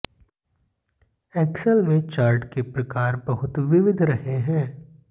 Excel में chart के प्रकार बहुत विविध रहे हैं